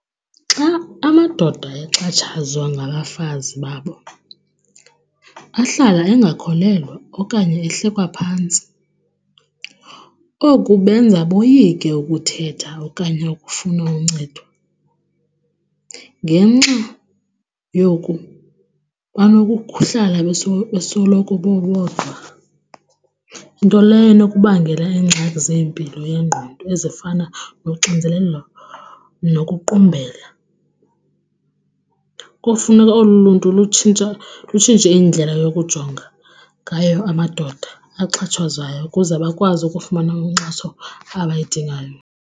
Xa amadoda exhatshazwa ngabafazi babo ahlala engakholelwa okanye ehlekwa phantsi. Oku benza boyike ukuthetha okanye ukufuna uncedo. Ngenxa yoku banokuhlala besoloko bebodwa, nto leyo enokubangela iingxaki zempilo yengqondo ezifana noxinzelelo nokuqumbela. Kofuneka olu luntu lutshintsha, lutshintshe indlela yokujonga ngayo amadoda axhatshazwayo ukuze bakwazi ukufumana inkxaso abayidingayo.